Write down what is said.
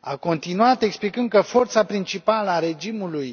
A continuat explicând că forța principală a regimului